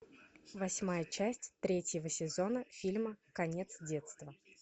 восьмая часть третьего сезона фильма конец детства